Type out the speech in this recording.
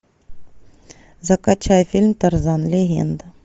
закачай фильм тарзан легенда